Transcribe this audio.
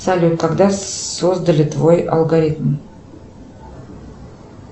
салют когда создали твой алгоритм